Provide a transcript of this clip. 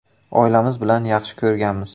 Oilamiz bilan yaxshi ko‘rganmiz.